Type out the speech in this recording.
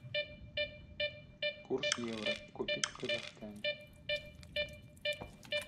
курс евро купить в казахстане